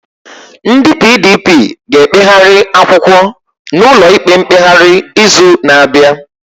Ndị PDP ga-ekpegharị akwụkwọ n'ụlọikpe mkpegharị izu na-abịa